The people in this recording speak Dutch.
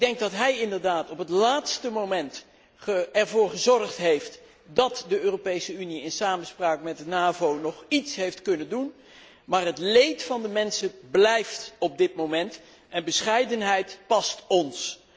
Ik denk dat hij inderdaad op het laatste moment ervoor gezorgd heeft dat de Europese Unie in samenspraak met de NAVO nog iets heeft kunnen doen, maar het leed van de mensen is op dit moment niet voorbij, en bescheidenheid past ons.